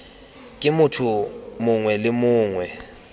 ke motho mongwe le mongwe